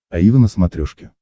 аива на смотрешке